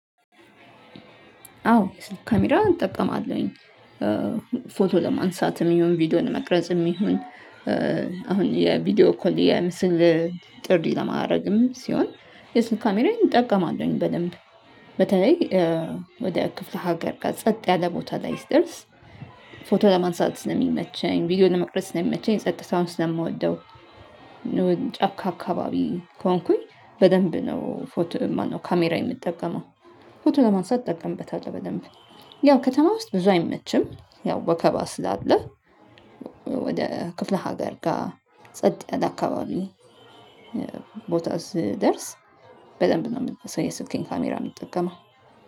አዎ ካሜራ እጠቀማለሁኝ ፎቶ ለማንሳትም ይሁን ቪዲዮን ለመቅረጽም ይሁን። አሁን የቪዲዮ ኮሌ ምስል ጥሪ ለማረግም ሲሆን የሱን ካሜራዬን እጠቀማለሁኝ በደንብ። በተለይ ወደ ክፍለ ሀገር ጋር ጸጥ ያለ ቦታ ላይ ስደርስ ፎቶ ለማንሳት ነው የሚመቸኝ ቪዲዮ ለመቅረጽ ነው የሚመቸኝ ጸጥታውን ስለምወደው። ጫካ አካባቢ ከሆንኩኝ በደንብ ነው ፎቶ ማነው ካሜራ የምጠቀመው። ፎቶ ለማንሳት እጠቀምበታለው በደንብ ያው ከተማ ውስጥ ብዙ አይመችም ያው ወከባ ስላለ። ወደ ክፍለ ሀገር ጋር ጸጥ ያለ አካባቢ ቦታ ስደርስ በደንብ ነው እም የስልኬን ካሜራ የምንጠቀመው